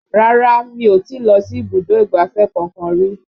Rárá mi ò tí lọ sí ibùdó ìgbáfẹ́ kankan rí